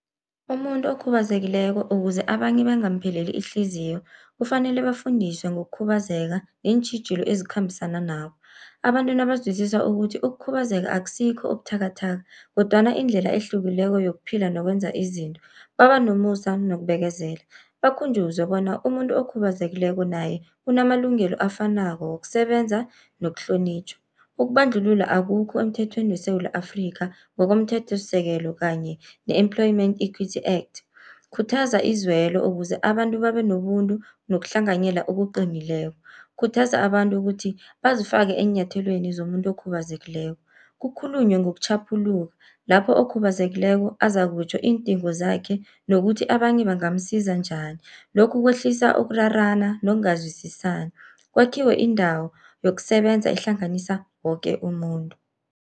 Umuntu okhubazekileko ukuze abanye bangampheleli ihliziyo, kufanele bafundiswe ngokukhubazeka neentjhijilo ezikhambisana nabo. Abantu nabazwisisa ukuthi ukukhubazeka akusikho ubuthakathaka, kodwana indlela ehlukileko yokuphila nokwenza izinto, baba nomusa nokubekezela bakhunjuzwe bona umuntu okhubazekileko naye unamalungelo afanako wokusebenza nokuhlonitjhwa. Ukubandlulula akukho emthethweni weSewula Afrika, ngomthethosisekelo kanye ne-employement equity act. Khuthaza izulwelo ukuze abantu babe nobuntu nokuhlanganyela okuqinileko. Khuthaza abantu kuthi bazifake eenyathelweni zomuntu okhubazekileko, kukhulunywe ngokutjhaphuluka lapho okhubazekileko azakutjho iindingo zakhe nokuthi abanye bangamsiza njani. Lokhu kwehlisa ukurarana nokungazwisisani, kwakhiwe indawo yokusebenza ehlanganisa woke umuntu.